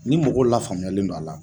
Ni mɔgɔ lafaamuyalen do a la